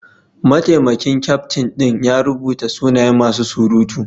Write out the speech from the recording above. Mataimakin kyaftin din ya rubuta sunayen masu surutu.